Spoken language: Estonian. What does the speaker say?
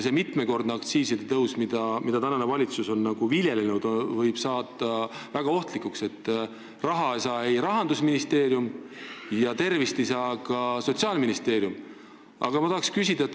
Mitmekordne aktsiisitõus, mida praegune valitsus viljeleb, võib saada väga ohtlikuks, sest Rahandusministeerium ei saa raha ja Sotsiaalministeerium ei saavuta ka tervist.